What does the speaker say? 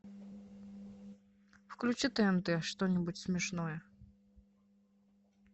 включи тнт что нибудь смешное